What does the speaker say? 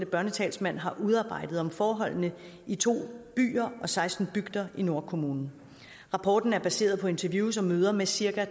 børnetalsmand har udarbejdet om forholdene i to byer og seksten bygder i nordkommunen rapporten er baseret på interviews og møder med cirka